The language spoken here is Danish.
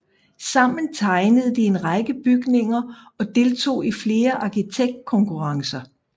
Sammen tegnede de en række bygninger og deltog i flere arkitektkonkurrencer